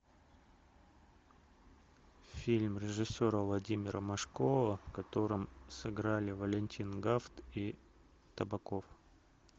фильм режиссера владимира машкова в котором сыграли валентин гафт и табаков